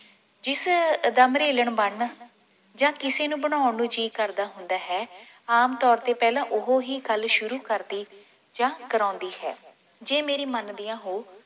ਜਿਸ ਦਾ ਮਰੇਲਨ ਬਣਨ ਜਾਂ ਕਿਸੇ ਨੂੰ ਬਣਾਉਣ ਨੂੰ ਜੀ ਕਰਦਾ ਹੁੰਦਾ ਹੈ ਆਮ ਤੌਰ ਤੇ ਪਹਿਲਾਂ ਉਹ ਹੀ ਗੱਲ ਸ਼ੁਰੂ ਕਰਦੀ ਜਾਂ ਕਰਾਉਂਦੀ ਹੈ ਜੇ ਮੇਰੀ ਮੰਨਦੀਆਂ ਹੋਊ